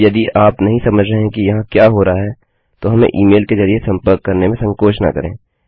अब यदि आप नहीं समझ रहे हैं कि यहाँ क्या हो रहा है तो हमें ईमेल के जरिये संपर्क करने में संकोच न करें